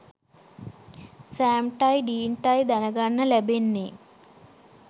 සෑම්ටයි ඩීන්ටයි දැනගන්න ලැබෙන්නේ.